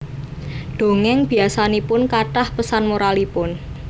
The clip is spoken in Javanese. Dongéng biasanipun kathah pesan moralipun